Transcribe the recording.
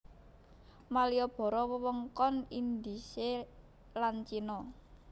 Maliboro wewengkon Indhise lan Cina